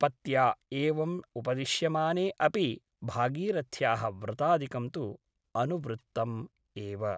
पत्या एवम् उपदिश्यमाने अपि भागीरथ्याः व्रतादिकं तु अनुवृत्तम् एव ।